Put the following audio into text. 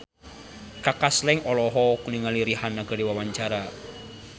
Kaka Slank olohok ningali Rihanna keur diwawancara